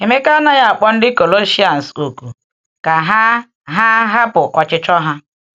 Emeka anaghị akpọ ndị Kọlọsians òkù ka ha ha hapụ ọchịchọ ha.